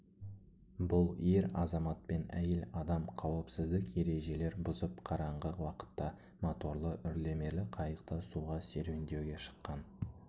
бұл ер азаматпен әйел адам қауіпсіздік ережелер бұзып қараңғы уақытта моторлы үрлемелі қайықта суға серуендеуге шыққан